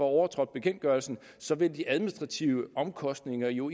overtrådt bekendtgørelsen så vil de administrative omkostninger jo